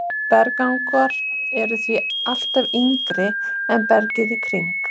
Berggangar eru því alltaf yngri en bergið í kring.